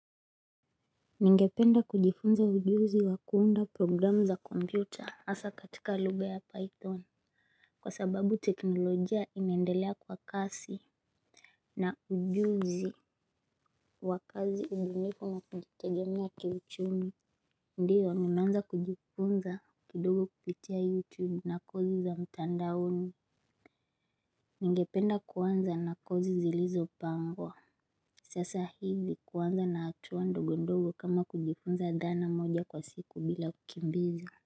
Ningependa kujifunza ujuzi wa kuunda programu za kompyuta asa katika luga ya python. Kwa sababu teknolojia inaendelea kwa kasi na ujuzi wakazi ubunifu na kujitegemea kiuchumi. Ndiyo ninaanza kujifunza kidogo kupitia youtube na kozi za mtandaoni. Ningependa kuanza na kozi zilizo pangwa. Sasa hivi kuanza na hatua ndogo ndogo kama kujifunza dhana moja kwa siku bila kukimbiza.